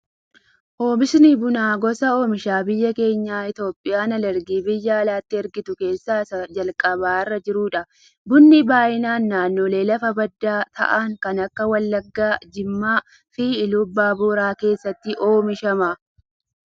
Oomishti bunaa gosa oomisha biyyi keenya Itoophiyaan alergii biyya alaatti ergitu keessaa isa calqaba irra jirudha. Bunni baayyinaan naannolee lafa baddaa ta'an kan akka Wallaggaa, Jimmaa fi Iluu abbaa booraa keessatti oomishama.